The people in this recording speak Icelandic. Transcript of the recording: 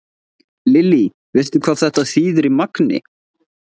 Lillý: Veistu hvað þetta þýðir í magni?